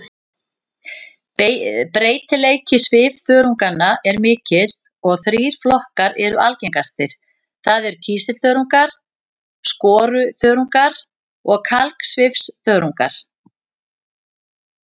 Breytileiki svifþörunganna er mikill en þrír flokkar eru algengastir, það er kísilþörungar, skoruþörungar og kalksvifþörungar.